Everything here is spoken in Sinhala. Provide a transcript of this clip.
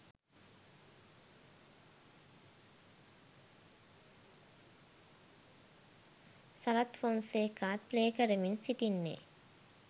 සරත් ෆොන්සේකාත් ප්ලේ කරමින් සිටින්නේ.